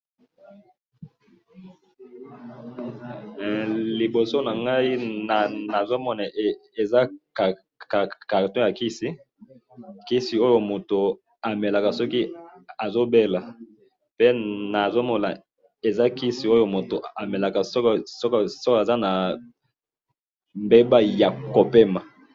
he liboso nangayi nazomona eza carton ya kisi kisi mutu oyo amelaka soki azobela pena namoni eza kisi mutu amelaka soki aza na ndembo ya kopema.